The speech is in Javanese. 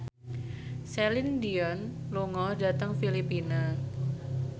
Celine Dion lunga dhateng Filipina